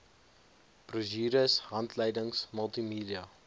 brosjures handleidings multimedia